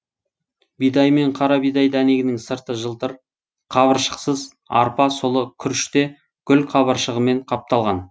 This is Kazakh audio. бидай мен қарабидай дәнегінің сырты жылтыр қабыршақсыз арпа сұлы күріште гүлқабыршағымен қапталған